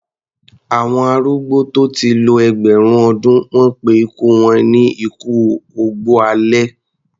Àwọn arúgbó tó ti lo ẹgbẹ̀rún ọdún, wọ́n pé ikú wọn ni ikú ògbó alẹ́.